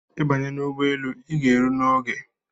I banye ụgbọelu ịga ero n’oge